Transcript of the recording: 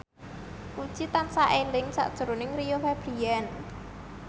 Puji tansah eling sakjroning Rio Febrian